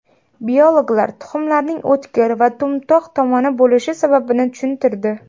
Biologlar tuxumlarning o‘tkir va to‘mtoq tomoni bo‘lishi sababini tushuntirdi.